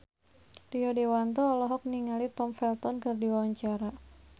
Rio Dewanto olohok ningali Tom Felton keur diwawancara